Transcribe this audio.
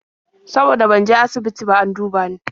Saboda ban je asibiti ba an duba ni.